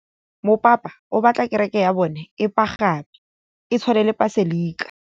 Mopapa o batla kereke ya bone e pagame, e tshwane le paselika.